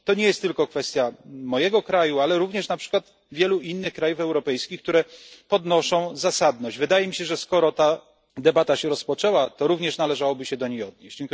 To nie jest tylko kwestia mojego kraju, ale również, na przykład, wielu innych krajów europejskich, które podnoszą zasadność. Wydaje mi się, że skoro ta debata się rozpoczęła, to również należałoby się do niej odnieść.